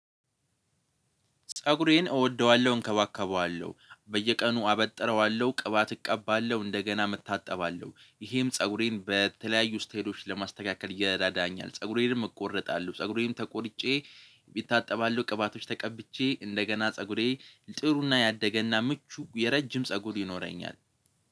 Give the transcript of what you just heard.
ፀጉሬን እወደዋለሁ እንከባከበዋለሁ በየቀኑ አበጥረዋለሁ ቅባት እቀባለሁ እንደገናም እታጠባለሁ ይሄም ፀጉሬን በተለያዩ ስቴዶች ለማስተካከል ይረዳኛል። ፀጉሬንም እቆረጣለሁ ፀጉሬን ተቆርጬ እታጠባለሁ ቅባቶች ተቀብቼ እንደገና ፀጉሬ ጥሩና ያደገና ምቹ የረጅም ፀጉር ይኖረኛል